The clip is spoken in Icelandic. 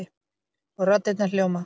Og raddirnar hljóma